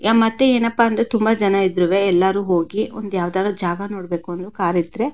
ಮತ್ತೆ ಎನ್ನಪ್ಪ ಅಂದ್ರೆ ತುಂಬ ಜನ ಇದ್ರುವೇ ಎಲ್ಲರೂ ಹೋಗಿ ಒಂದು ಯಾವುದಾದರೂ ಜಾಗ ನೋಡ್ಬೇಕು ಅಂದ್ರೆ ಕಾರು ಇದ್ರೆ --